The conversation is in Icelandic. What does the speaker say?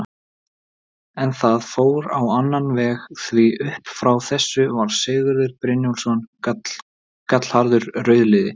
En það fór á annan veg, því upp frá þessu var Sigurður Brynjólfsson gallharður rauðliði.